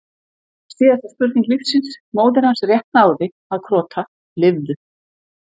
var síðasta spurning lífsins, móðir hans rétt náði að krota, lifðu!